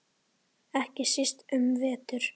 Ekki síst um vetur.